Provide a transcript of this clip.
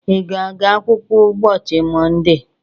Ị ga-aga akwụkwọ ụbọchị Mọnde?